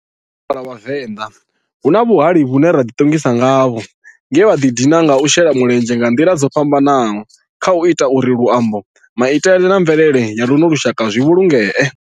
Kha lushaka lwa Vhavenda, hu na vhahali vhane ra ḓi tongisa ngavho nge vha di dina nga u shela mulenzhe nga nḓila dzo fhambananaho khau ita uri luambo, maitele na mvelele ya luno lushaka zwi vhulungee.